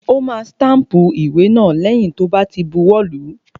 Ó ma stámpù ìwé náà lẹ́yìn tó bá ti buwọ́ lùú.